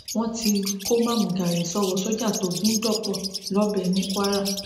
wọn ti kó mámúgaàrí sọwọ sójà tó gún dọpọ lọbẹ ní kwara